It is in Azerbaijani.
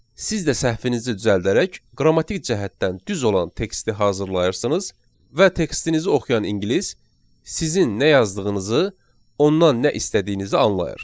Siz də səhvinizi düzəldərək qrammatik cəhətdən düz olan teksti hazırlayırsınız və tekstinizi oxuyan ingilis sizin nə yazdığınızı, ondan nə istədiyinizi anlayır.